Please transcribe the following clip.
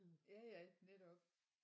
Ja ja netop